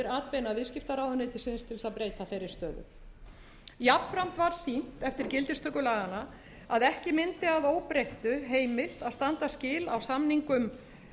atbeina viðskiptaráðuneytisins til þess að breyta þeirri stöðu jafnframt var sýnt eftir gildistöku laganna að ekki mundi að óbreyttu heimilt að standa skil á samningum